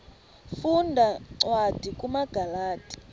funda cwadi kumagalati